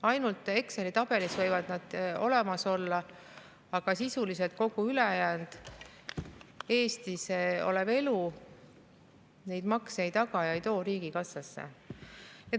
Ainult Exceli tabelis võivad nad olemas olla, aga sisuliselt kogu ülejäänud Eestis olev elu neid makse ei taga ega too riigikassasse.